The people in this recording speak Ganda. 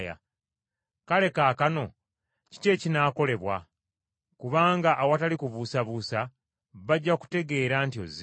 Kale kaakano kiki ekinaakolebwa? Kubanga awatali kubuusabuusa bajja kutegeera nti ozze.